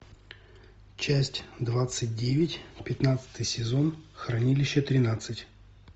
часть двадцать девять пятнадцатый сезон хранилище тринадцать